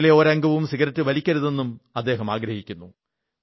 വീട്ടിലെ ഒരംഗവും സിഗരറ്റ് വലിക്കരുതെന്നും അദ്ദേഹം ആഗ്രഹിക്കുന്നു